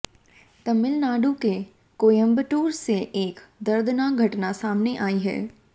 तमिलनाडु के कोयंबटूर से एक दर्दनाक घटना सामने आई है